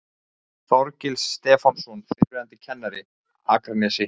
Þorgils Stefánsson, fyrrverandi kennari, Akranesi